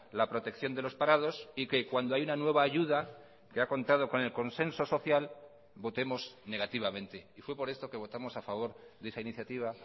la protección de los parados y que cuando hay una nueva ayuda que ha contado con el consenso social votemos negativamente y fue por esto que votamos a favor de esa iniciativa